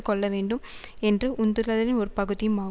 கொள்ள வேண்டும் என்ற உந்துதலின் ஒரு பகுதியுமா